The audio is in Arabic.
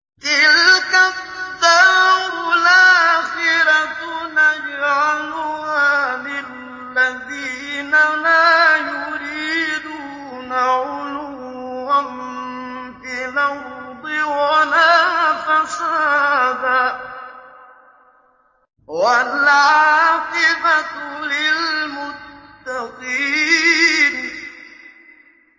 تِلْكَ الدَّارُ الْآخِرَةُ نَجْعَلُهَا لِلَّذِينَ لَا يُرِيدُونَ عُلُوًّا فِي الْأَرْضِ وَلَا فَسَادًا ۚ وَالْعَاقِبَةُ لِلْمُتَّقِينَ